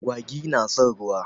Agwagi na son ruwa.